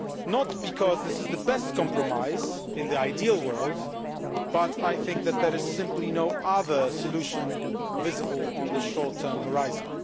Not because this is the best compromise in the ideal world, but I think that there is simply no other solution visible on the short term horizon.